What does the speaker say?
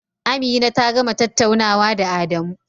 Amina ta gama tattaunawa da Adamu.